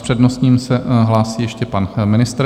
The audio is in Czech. S přednostním se hlásí ještě pan ministr.